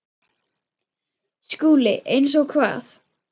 SKÚLI: Eins og hvað?